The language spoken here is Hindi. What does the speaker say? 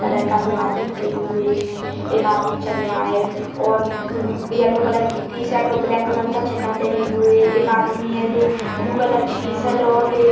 कलर का दो आदमी खड़े हुए हैं एक आदमी चल रहा है और येलो कलर की टीशर्ट और ब्लैक कलर का चड्डा पहने हुए एक आदमी है ब्लू कलर की टीशर्ट ग्रे --